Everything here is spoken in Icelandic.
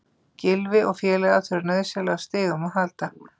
Gylfi og félagar þurfa nauðsynlega á stigum að halda.